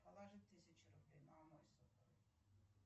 положи тысячу рублей на мой сотовый